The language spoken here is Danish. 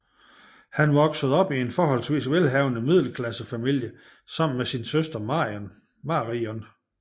Han voksede op i en forholdsvis velhavende middelklassefamilie sammen med sin søster Marion